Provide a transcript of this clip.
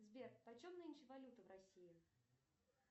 сбер почем нынче валюта в россии